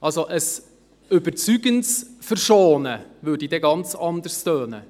Also: Ein überzeugendes Verschonen würde ganz anders klingen.